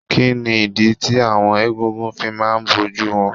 Kí ni ìdí tí àwọn egúngún fi máa ń bojú wọn.?